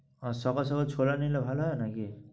আর সকাল সকাল ছোলা নিলে ভালো হয় নাকি?